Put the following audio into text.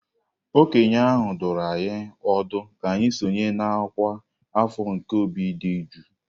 Okenye ahụ dụrụ anyị ọdụ ka anyị sonye na ọkwa afọ nke obi dị jụụ.